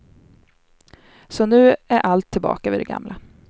Så nu är allt tillbaka vid det gamla.